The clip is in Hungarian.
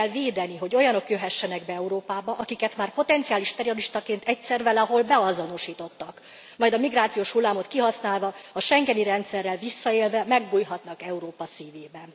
Ki kell védeni, hogy olyanok jöhessenek be Európába, akiket már potenciális terroristaként egyszer valahol beazonosítottak, majd a migrációs hullámot kihasználva, a schengeni rendszerrel visszaélve megbújhatnak Európa szívében.